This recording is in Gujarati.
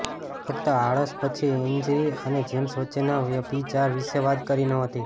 ફક્ત આળસ પછી એન્જી અને જેમ્સ વચ્ચેના વ્યભિચાર વિશે વાત કરી નહોતી